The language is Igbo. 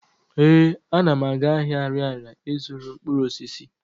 Ee, ana m aga ahịa Arịarịa ị zụrụ mkpụrụosisi.